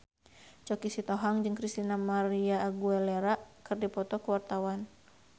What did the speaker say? Choky Sitohang jeung Christina María Aguilera keur dipoto ku wartawan